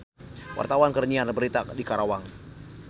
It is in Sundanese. Wartawan keur nyiar berita di Karawang